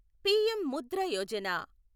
PM Mudra Yojana